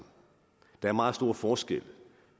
der er meget stor forskel